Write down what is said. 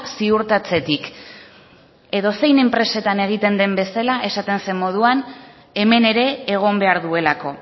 ziurtatzetik edozein enpresatan egiten den bezala esaten zen moduan hemen ere egon behar duelako